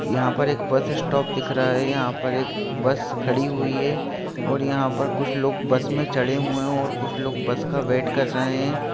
यहाॅं पर एक बस स्टॉप दिख रहा है यहाॅं पर एक बस खड़ी हुई है और यहाॅं पर कुछ लोग बस में चढ़े हुए हैं और कुछ लोग बस का वेट कर रहे हैं।